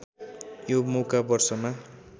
यो मौका वर्षमा